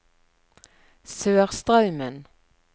Sørstraumen